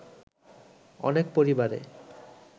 অনেক পরিবারে